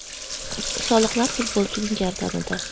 Soliqlar futbolchining gardanida.